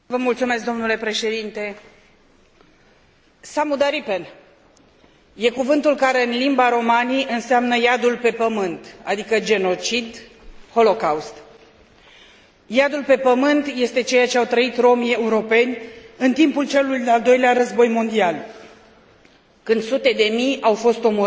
Samudaripen este cuvântul care în limba romani înseamnă iadul pe pământ, adică genocid, holocaust. Iadul pe pământ este ceea ce au trăit romii europeni în timpul celui de al doilea război mondial, când sute de mii au fost omorâți pentru singurul motiv că erau de etnie romă.